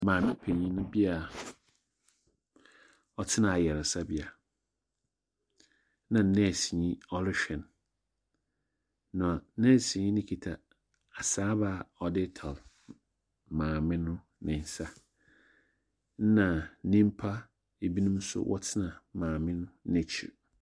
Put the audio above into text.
Maame panin bi a ɔtsena ayaresabea, na nɛɛseni ɔrohwɛ no, na nɛɛseni no kita asaaba a ɔdze retar maame no ne nsa, na nimpa ebinom nso wɔtsena maame no n'ekyir.